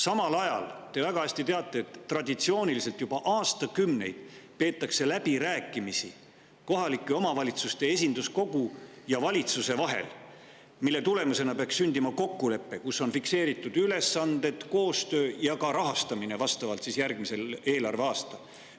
Samal ajal te väga hästi teate, et traditsiooniliselt on juba aastakümneid peetud läbirääkimisi kohalike omavalitsuste esinduskogu ja valitsuse vahel, mille tulemusena peaks sündima kokkulepe, kus on fikseeritud ülesanded, koostöö ja ka rahastamine järgmisel eelarveaastal.